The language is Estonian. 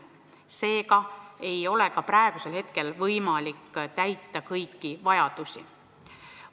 Seega ei ole meil praegugi võimalik täita kõiki vajadusi.